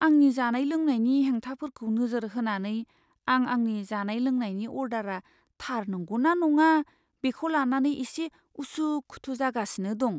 आंनि जानाय लोंनायनि हेंथाफोरखौ नोजोर होनानै, आं आंनि जानाय लोंनायनि अर्डारआ थार नंगौ ना नङा, बेखौ लानानै एसे उसु खुथु जागासिनो दं।